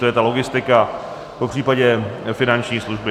To je ta logistika, popřípadě finanční služby.